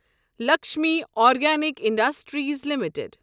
Lakshmi organic industries limited